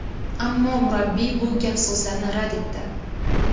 Ammo murabbiy bu gap-so‘zlarni rad etdi .